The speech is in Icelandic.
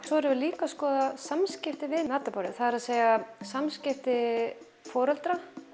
svo erum við líka að skoða samskipti við matarborðið það er að samskipti foreldra